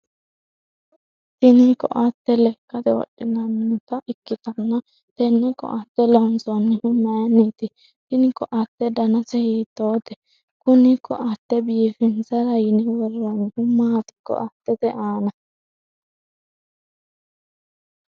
tini koatte lekkate wodhinannita ikkitanna, tenne koatte loonsoonnihu mayiinniti? tini koatte danase hiitoote? kuni koatte biifinsara yine worroonnihu maati koattete aana?